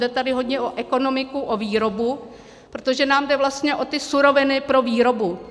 Jde tady hodně o ekonomiku, o výrobu, protože nám jde vlastně o ty suroviny pro výrobu.